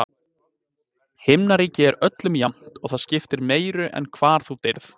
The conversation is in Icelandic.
Himnaríki er öllum jafnt, og það skiptir meiru en hvar þú deyrð.